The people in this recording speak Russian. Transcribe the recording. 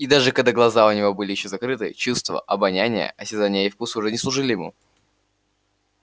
и даже когда глаза у него были ещё закрыты чувства обоняния осязания и вкуса уже служили ему